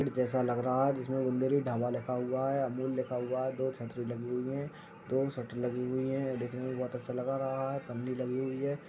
चित्र ऐसा लगा हुआ है। जिसमें बुंदेली ढाबा लिखा हुआ है। अमूल लिखा हुआ है। दो छतरी लगी हुई है। दो छतरी लगी हुई है। दिखने में बहुत अच्छा लग रहा है। पन्नी लगी हुई है।